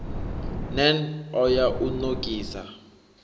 nan o ya u nokisa